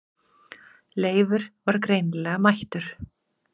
Leifur var greinilega mættur.